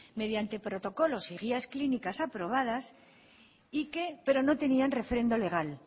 mediante protocolos y guías clínicas aprobadas pero no tenían refrendo legal